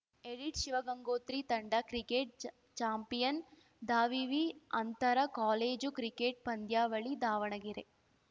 edit Shivagangotri ತಂಡ cricket ಚಾ champion ದಾವಿವಿ ಅಂತರ ಕಾಲೇಜು ಕ್ರಿಕೆಟ್‌ ಪಂದ್ಯಾವಳಿ ದಾವಣಗೆರೆ